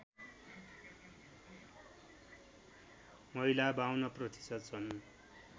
महिला ५२ प्रतिशत छन्